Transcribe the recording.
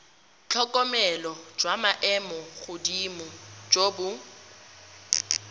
tlhokomelo jwa maemogodimo jo bo